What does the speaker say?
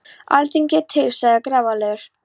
Alþingi er til, sagði hann grafalvarlegur.